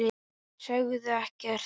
Sögðu ekkert.